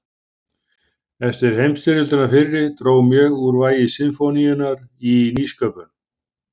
Eftir heimsstyrjöldina fyrri dró mjög úr vægi sinfóníunnar í nýsköpun.